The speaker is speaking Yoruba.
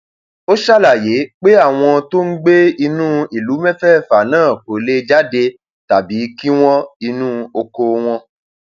ó ṣàlàyé pé àwọn tó ń gbé ní ìlú mẹfẹẹfà náà kò lè jáde tàbí um kí wọn inú oko wọn um